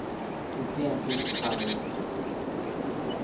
nittien tusen fem hundre og syttifire